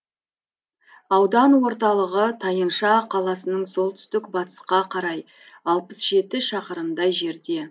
аудан орталығы тайынша қаласынан солтүстік батысқа қарай алпыс жеті шақырымдай жерде